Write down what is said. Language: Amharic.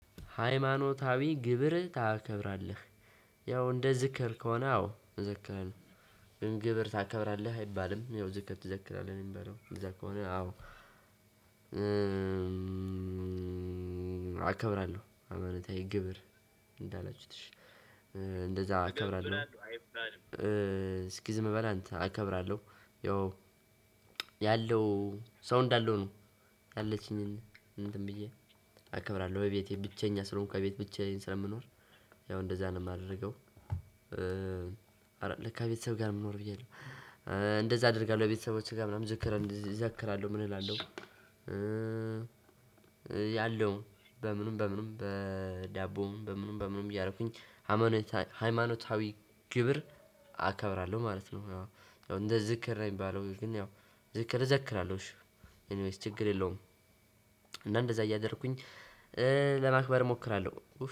ሃይማኖታዊ ግብር ታከብራለህ ያው እንደ ዝክር ከሆነ አዎ ዝክር ነው። ግን ግብር ታከብራለህ አይባልም ያው ዝክር ትዘክራለህ ነው የሚባለው እንደዚያ ከሆነ አዎ። አከብራለሁ አመነታዊ ግብር እንዳላችሁትሽ እንደዛ አከብራለሁ። አይፈራም ስኪዝ መበላ አንተ አከብራለሁ ያለው ሰው እንዳለው ነው። ያለችኝን እንትን ብዬ አከብራለሁ በቤቴ ብቸኛ ስለሆንኩ ከቤት ብቻዬን ስለምኖር ያው እንደዛ ነው የማደርገው። ለካ ቤተሰብ ጋር መኖር ብዬ ነው። እንደዛ አደርጋለሁ ቤተሰቦቼ ጋር ምናምን ዝክር እዘክራለሁ ምን እላለሁ። ያለው በምንም በምንም በዳቦም በምንም በምንም እያረኩኝ ሃይማኖታዊ ግብር አከብራለሁ ማለት ነው። እንደ ዝክር ነው የሚባለው ግን ያው ዝክር እዘክራለሁ እሺ ኤኒዌይስ ችግር የለውም። እና እንደዛ እያደረኩኝ ለማክበር እሞክራለሁ።